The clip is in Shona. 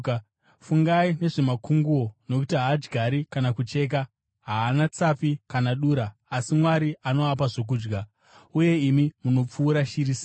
Fungai nezvamakunguo nokuti haadyari kana kucheka, haana tsapi kana dura, asi Mwari anoapa zvokudya. Uye imi munopfuura shiri sei!